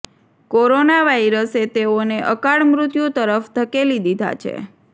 corona વાયરસે તેઓને અકાળ મૃત્યુ તરફ ધકેલી દીધા છે